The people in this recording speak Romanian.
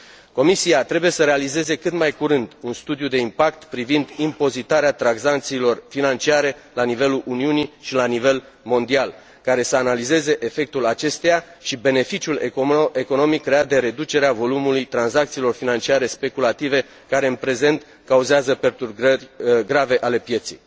Comisia trebuie să realizeze, cât mai curând, un studiu de impact privind impozitarea tranzacțiilor financiare la nivelul Uniunii și la nivel mondial, care să analizeze efectul acesteia și beneficiul economic creat de reducerea volumului tranzacțiilor financiare speculative care, în prezent, cauzează perturbări grave ale pieței.